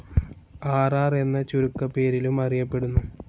R R എന്ന ചുരുക്ക പേരിലും അറിയപെടുന്നു.